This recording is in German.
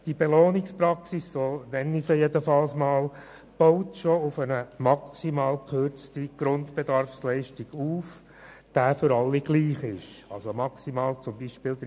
Die Belohnungspraxis baut auf einer bereits maximal gekürzten Grundbedarfsleistung auf, welche für alle gleich ist, beispielsweise maximal 30 Prozent.